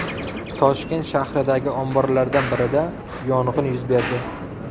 Toshkent shahridagi omborlardan birida yong‘in yuz berdi.